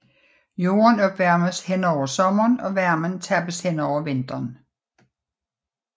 Jorden opvarmes hen over sommeren og varmen tappes hen over vinteren